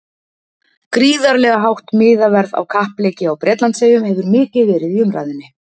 Gríðarlega hátt miðaverð á kappleiki á Bretlandseyjum hefur mikið verið í umræðunni.